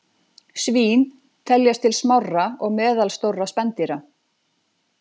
Svín teljast til smárra og meðalstórra spendýra.